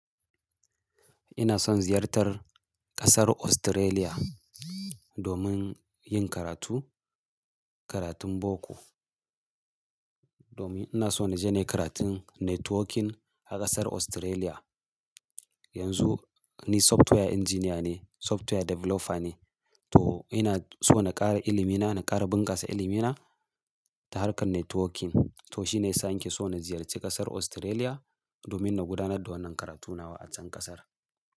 Ina son ziyartar kasar Australia domin yin karatu, karatun boko. Domin ina so na je ne karatun networking a kasar Australia. Yanzu ni software engineer ne, software developer ne, to ina so na ƙara ilimi na, na ƙara bunƙasa ilimi na ta harkar networking. To shi ne yasa nake so na ziyarci kasar Australia domin na gudanar da wannan karatu nawa a can kasar.